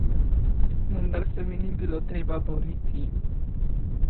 Vendar se mi ni bilo treba boriti.